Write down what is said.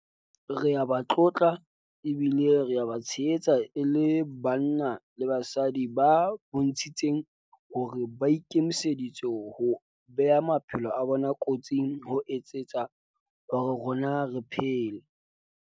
Re a ba tlotla ebile re a ba tshehetsa e le banna le basadi ba bontshitseng hore ba ikemiseditse ho bea maphelo a bona kotsing ho etsetsa hore rona re phele.